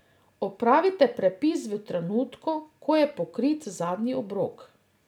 Opravite prepis v trenutku, ko je pokrit zadnji obrok.